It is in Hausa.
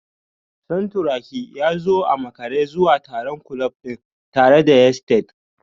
Santuraki ya zo a makare zuwa taron kulob din tare da yesteds